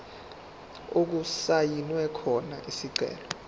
okusayinwe khona isicelo